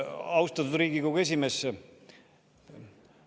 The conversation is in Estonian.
Austatud Riigikogu esimees!